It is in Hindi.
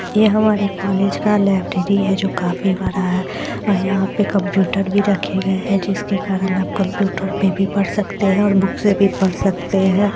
ये हमारे कॉलेज का लाइब्रेरी है जो काफी बड़ा है और यंहा पे कंप्यूटर भी रखे गए है जिनके कारण आप कंप्यूटर पे भी पढ़ सकते है और बुक से भी पढ़ सकते है।